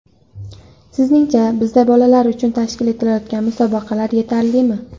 Sizningcha, bizda bolalar uchun tashkil etilayotgan musobaqalar yetarlimi?